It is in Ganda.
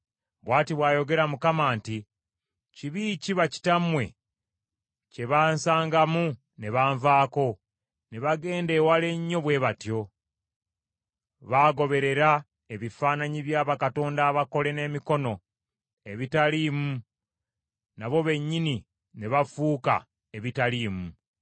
Bw’ati bw’ayogera Mukama nti, Kibi ki bakitammwe kye bansangamu ne banvaako ne bagenda ewala ennyo bwe batyo? Baagoberera ebifaananyi bya bakatonda abakole n’emikono ebitaliimu nabo bennyini ne bafuuka ebitaliimu.